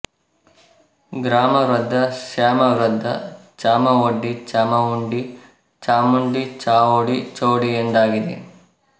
ಗ್ರಾಮವೃದ್ದ ಶ್ಯಾಮವೃದ್ದ ಚಾಮವೊಡ್ಡಿ ಚಾಮಉಂಡಿ ಚಾಮುಂಡಿ ಚಾವುಡಿ ಚೌಡಿ ಎಂದಾಗಿದೆ